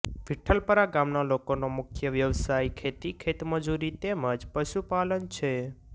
વિઠ્ઠલપરા ગામના લોકોનો મુખ્ય વ્યવસાય ખેતી ખેતમજૂરી તેમ જ પશુપાલન છે